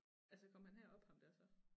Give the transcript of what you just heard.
Altså kom han herop ham der så